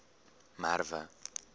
merwe